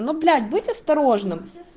ну блять быть осторожным